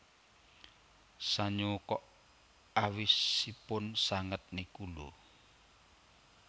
Sanyo kok awisipun sanget niku lho